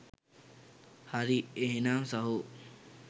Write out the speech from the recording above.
හරි එහෙනම් සහෝ